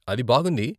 అది బాగుంది.